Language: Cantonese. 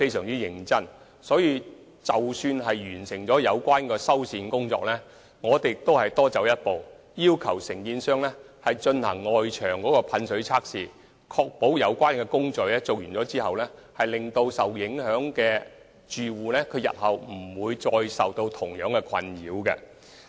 為此，在完成有關的修繕工作後，我們會多走一步，要求承建商進行外牆噴水測試，以確保在有關工程完成後，受影響的住戶不會再受到相同的困擾。